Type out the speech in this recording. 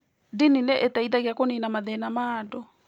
Ndini nĩ iteithagia kũniina mathĩna ma andũ.